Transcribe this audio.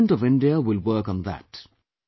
The Government of India will work on that